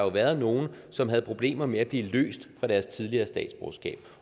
været nogle som havde problemer med at blive løst fra deres tidligere statsborgerskab